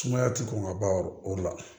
Sumaya ti kɔn ka ban o la